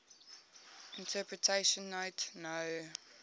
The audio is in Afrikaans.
interpretation note no